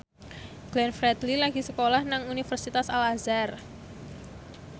Glenn Fredly lagi sekolah nang Universitas Al Azhar